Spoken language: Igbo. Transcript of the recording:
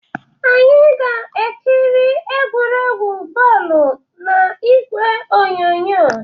Anyị ga-ekiri egwuregwu bọọlụ na igwe onyonyo